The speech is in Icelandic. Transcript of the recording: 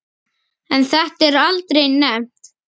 En þetta er aldrei nefnt.